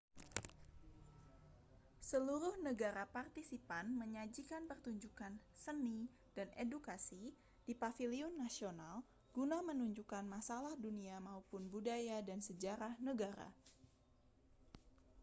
seluruh negara partisipan menyajikan pertunjukan seni dan edukasi di paviliun nasional guna menunjukkan masalah dunia maupun budaya dan sejarah negara